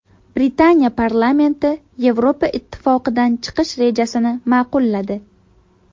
Britaniya parlamenti Yevropa Ittifoqidan chiqish rejasini ma’qulladi.